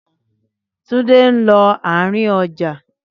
Túndé ń lọ àárín ọjà.